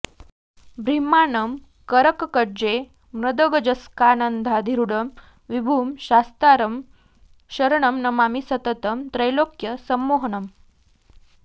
बिभ्राणं करपङ्कजैर्मदगजस्कन्धाधिरूढं विभुं शास्तारं शरणं नमामि सततं त्रैलोक्यसम्मोहनम्